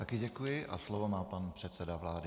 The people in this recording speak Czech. Taky děkuji a slovo má pan předseda vlády.